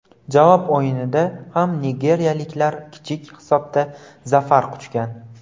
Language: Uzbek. Javob o‘yinida ham nigeriyaliklar kichik hisobda zafar quchgan.